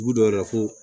Dugu dɔw la ko